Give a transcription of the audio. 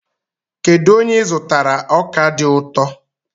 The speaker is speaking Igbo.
Kedu onye ị zụtara ọka dị ụtọ?